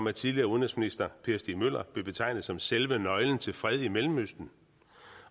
er tidligere udenrigsminister og per stig møller vil betegne ham som selve nøglen til fred i mellemøsten